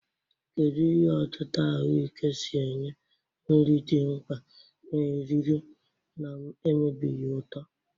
Kedu ka ihe otita ahuike si enye nri dị mkpa na eriri na-emebighị uto?